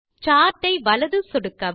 chart ஐ வலது சொடுக்கவும்